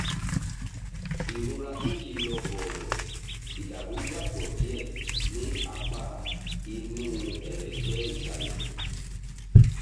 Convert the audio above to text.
ìrora tí kìí lọ bọ̀rọ̀/ìdàrúdàpọ̀ díẹ̀ ní apá inú ẹ̀rẹ̀kẹ́ ìsàlẹ̀